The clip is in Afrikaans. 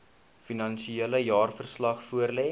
finansiële jaarverslag voorlê